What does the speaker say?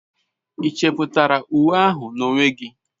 Ị chepụtara uwe ahụ n'onwe gị?